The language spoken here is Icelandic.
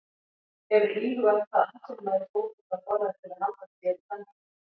Hefurðu íhugað hvað atvinnumaður í fótbolta borðar til að halda sér í standi?